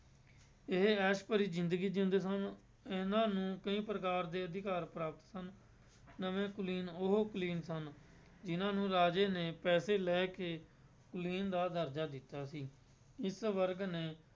ਇਹ ਐਸ ਭਰੀ ਜ਼ਿੰਦਗੀ ਜਿਉਂਦੇ ਸਨ, ਇਹਨਾਂ ਨੂੰ ਕਈ ਪ੍ਰਕਾਰ ਦੇ ਅਧਿਕਾਰ ਪ੍ਰਾਪਤ ਸਨ, ਨਵੇਂ ਕੁਲੀਨ ਉਹ ਕੁਲੀਨ ਸਨ ਜਿਹਨਾਂ ਨੂੰ ਰਾਜੇ ਨੇ ਪੈਸੇ ਲੈ ਕੇ ਕੁਲੀਨ ਦਾ ਦਰਜਾ ਦਿੱਤਾ ਸੀ, ਇਸ ਵਰਗ ਨੇ